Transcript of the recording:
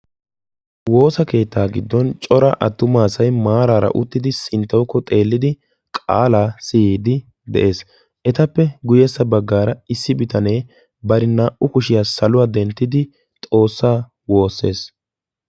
Woosa keetta giddon cora atumma asay sinttawu xeelliddi qaala siyees. Ettappe guye bagan issi bitanne xoosa wosees.